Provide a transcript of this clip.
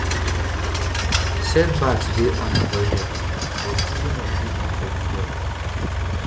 "set backs dey unavoidable but giving up dey unforgivable."